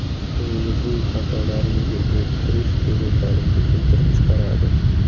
O‘zingizning xatolaringizni bo‘rttirish bezovtalikni keltirib chiqaradi.